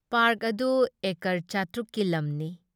Park ꯑꯗꯨ acre ꯆꯥꯇ꯭ꯔꯨꯛ ꯀꯤ ꯂꯝꯅꯤ ꯫